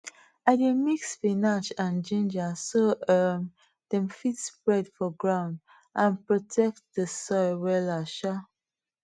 i dey mix spinach and ginger so um dem fit spread for ground and protect the soil wella um